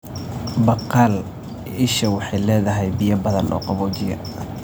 Baqaal isha waxay leedahay biyo badan oo qaboojiya.